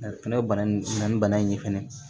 Fɛnɛ ye bana in na ni bana in ye fɛnɛ